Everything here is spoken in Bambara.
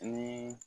Ni